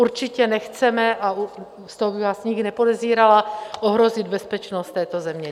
Určitě nechceme - a z toho bych vás nikdy nepodezírala - ohrozit bezpečnost této země.